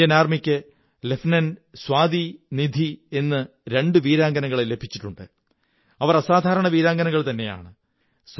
Indian ആര്മിംക്ക് lieutenant Swati Nidhi എന്നിങ്ങനെ രണ്ടു വീരാംഗനകളെ ലഭിച്ചിട്ടുണ്ട് അവർ അസാധാരണ വീരാംഗനകള്ത്ന്നെയാണ്